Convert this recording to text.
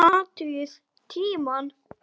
Athugið tímann.